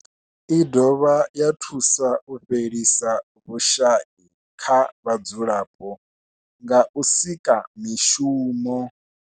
I dovha ya thusa u fhelisa vhushayi kha vhadzulapo nga u sika mishumo.